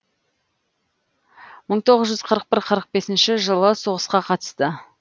мың тоғыз жүз қырық бір қырық бесінші жылы соғысқа қатысты